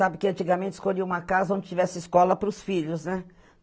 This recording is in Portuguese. Sabe que antigamente escolhiam uma casa onde tivesse escola para os filhos, né?